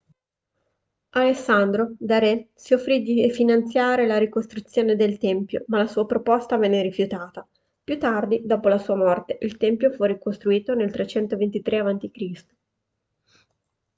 alessandro da re si offrì di finanziare la ricostruzione del tempio ma la sua proposta venne rifiutata più tardi dopo la sua morte il tempio fu ricostruito nel 323 a.c